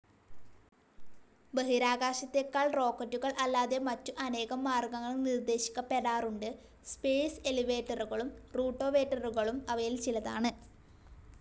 ബഹിരാകാശത്തേക്കാൾ റോക്കറ്റുകൾ അല്ലാതെ മറ്റു അനേകം മാർഗ്ഗങ്ങൾ നിർദ്ദേശിക്കപ്പെടാറുണ്ട്. സ്പേസ്‌ എലിവേറ്ററുകളും റൂട്ടോവേറ്ററുകളും അവയിൽ ചിലതാണ്.